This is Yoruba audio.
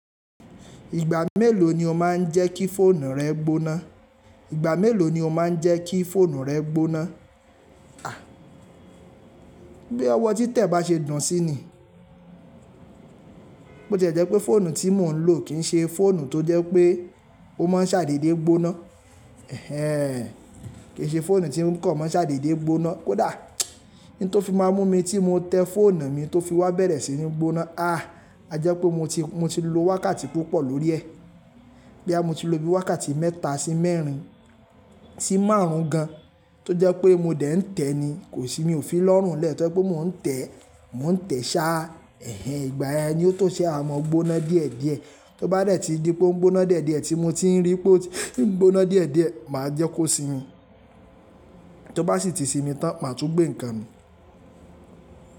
Ìgbà mélòó ni o máa ń jẹ́ kí fóònù rẹ gboná? Ìgbà mélòó ni o máa ń jẹ́ kí fóònù rẹ gboná? À, bí ọwọ́ títẹ̀ bá ṣe dùn sí i ni. Bo ṣe jẹ́ pé fóònù tí mò ń lò kì ń ṣe fóònù tó jẹ́ pé ó máa ń ṣàdédé gboná. Ẹ̀hẹn, kì í ṣe fóònù tí ń kàn máa ń ṣàdédé gboná. Kódà n tó fi má mú mi tí mo tẹ fóònù mi tó fi wá bẹ̀rẹ̀ sí ní gboná. À, a jẹ́ pé mo ti, mo ti lo wákàtí púpọ̀ lórí ẹ̀. Bo ya mó ti lo bí i wákàtí mẹ́ta sí mẹ́rin sí márùn-ún gan, tó jẹ́ pé mo dẹ̀ ń tẹ̀ ni, kò sì mí ò fi lọ́rùn lé ẹ̀, tó jẹ́ pé mò ń tẹ̀, mò ń tẹ̀ sá. Ẹ̀hẹn, ìgbà yẹn ni ó tó ṣe a máa gboná díẹ̀díẹ̀. Tó bá rẹ̀ ti di pé ó ń gboná díẹ̀díẹ̀ tí mo tí ń rí pé ó ti ń gboná díẹ̀díẹ̀, mà á jẹ́ kó sinmi. Tó bá sì ti sinmi tán, màá tún gbé nǹkan mi.